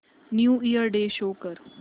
new year day show कर